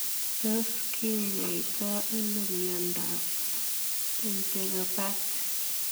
Tos kinyaitoo anoo miondoop Enteropathy?